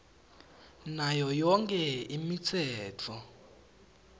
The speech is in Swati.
nayo yonkhe imitsetfo